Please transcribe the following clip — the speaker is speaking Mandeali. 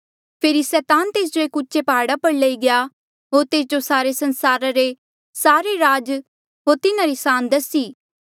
फेरी सैतान तेस जो एक उचे प्हाड़ा पर लई गया होर तेस जो सारे संसारा रे सारे राज होर तिन्हारी सान दसी